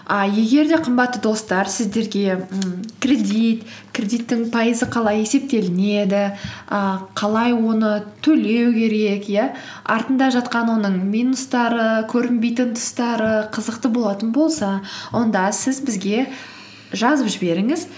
і егер де қымбатты достар сіздерге ммм кредит кредиттің пайызы қалай есептелінеді і қалай оны төлеу керек иә артында жатқан оның минустары көрінбейтін тұстары қызықты болатын болса онда сіз бізге жазып жіберіңіз